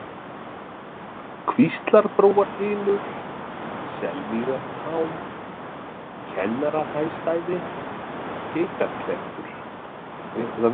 Kvíslarbrúarhylur, Selmýrartá, Kennaraheystæði, Geitarklettur